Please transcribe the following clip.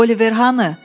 Oliver hanı?